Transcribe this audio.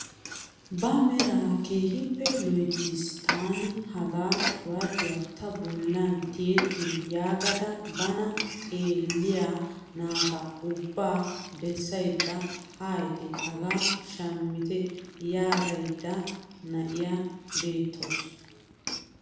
Ba meraa kehippe loyttiis taani hagaa qibaatiyaa ta bollan tiyettin yaagada bana xeelliyaa naata ubbaa bessayda haayite hagaa shammitte yaagiyaa na'iyaa beettawus.